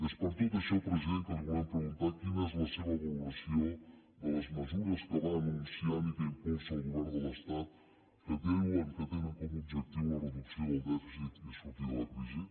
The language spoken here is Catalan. és per tot això president que li volem preguntar quina és la seva valoració de les mesures que va anun ciant i que impulsa el govern de l’estat que diuen que tenen com a objectiu la reducció del dèficit i sortir de la crisi